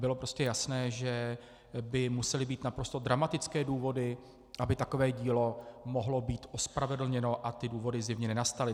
Bylo prostě jasné, že by musely být naprosto dramatické důvody, aby takové dílo mohlo být ospravedlněno, a ty důvody zjevně nenastaly.